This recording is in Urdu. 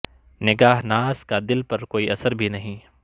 نگاہ ناز کا دل پر کوئی اثر بھی نہیں